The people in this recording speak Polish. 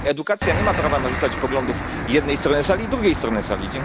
I edukacja nie ma prawa narzucać poglądów jednej strony sali drugiej stronie sali.